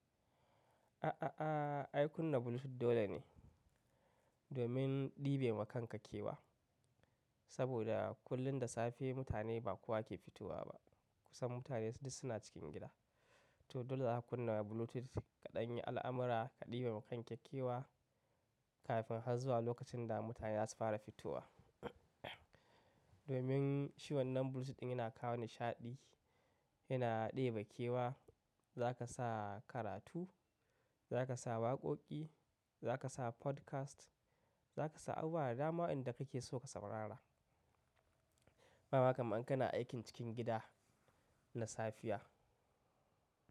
A'a aah, ai kunna Bluetooth dole ne domin ɗibe wa kanka kewa. Saboda kullum da safe mutane ba kowa ke fitowa ba. Kusan mutane duk suna cikin gida. To dole zaka kunna Bluetooth, ka ɗan yi al'amira, ka ɗebewa kanka kewa kafin har zuwa lokacin da mutane zasu fara fitowa domin shi wannan Bluetooth ɗin yana kawo nishaɗi, yana ɗebe kewa. Za ka sa karatu, za ka sa waƙoƙi, za ka sa podcast, za ka sa abubuwa da dama waɗanda kake so ka saurara. Kaga kamar in kana aikin cikin gida na safiya.